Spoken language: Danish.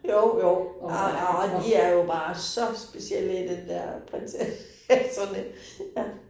Jo jo, og og de er jo bare så specielle i den der prinsesserne ja